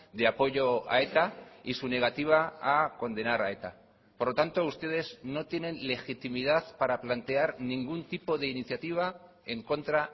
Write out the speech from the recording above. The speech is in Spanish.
de apoyo a eta y su negativa a condenar a eta por lo tanto ustedes no tienen legitimidad para plantear ningún tipo de iniciativa en contra